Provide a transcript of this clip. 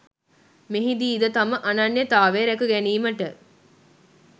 මෙහිදීද තම අනන්‍යතාවය රැකගැනීමට